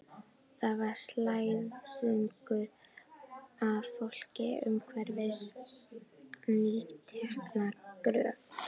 Þar var slæðingur af fólki umhverfis nýtekna gröf.